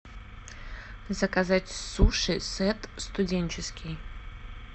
заказать суши сет студенческий